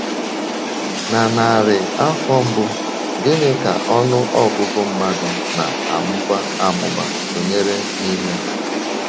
Na narị afọ mbụ, gịnị ka ọnụ ọgụgụ mmadụ na - amụba amụba sonyere n’ime?